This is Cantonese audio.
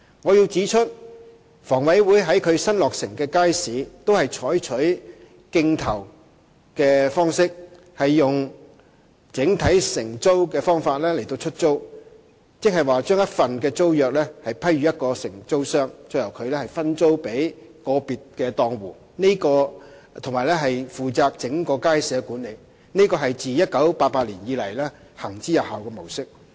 我要指出，房委會於其新落成的街市均採取競投的方式，用整體承租的方法出租，即把一份租約批予一個承租商，由它再分租予個別檔戶，並且負責整個街市的管理，這是自1988年以來行之有效的模式。